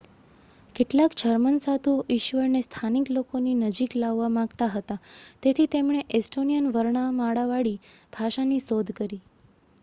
કેટલાક જર્મન સાધુઓ ઈશ્વરને સ્થાનિક લોકોની નજીક લાવવા માગતા હતા તેથી તેમણે એસ્ટોનિયન વર્ણમાળાવાળી ભાષાની શોધ કરી